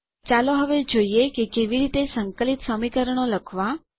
ચાલો હવે જોઈએ કે કેવી રીતે સંકલિત સમીકરણો લખવાં